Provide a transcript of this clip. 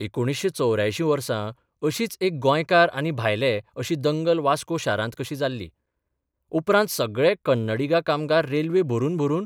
1984 वर्सा अशीच एक गोंयकार आनी भायले अशी दंगल वास्को शारांत कशी जाल्ली, उपरांत सगळे कन्नडिगा कामगार रेल्वे भरून भरून